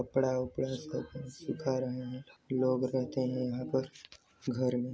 कपड़ा वपडा सुखा सुखा रहे है लोग रहते है यहाँ पर घर में--